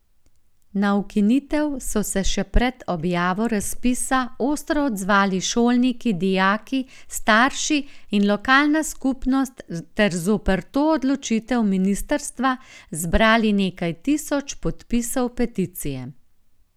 Na ukinitev so se še pred objavo razpisa ostro odzvali šolniki, dijaki, starši in lokalna skupnost ter zoper to odločitev ministrstva zbrali nekaj tisoč podpisov peticije.